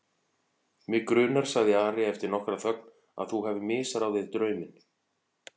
Mig grunar, sagði Ari eftir nokkra þögn,-að þú hafir misráðið drauminn.